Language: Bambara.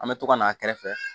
An bɛ to ka na a kɛrɛfɛ